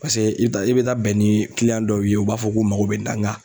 Paseke i bɛ taa i bɛ taa bɛn ni dɔw ye u b'a fɔ k'u mago bɛ nin na nga